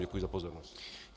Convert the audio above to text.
Děkuji za pozornost.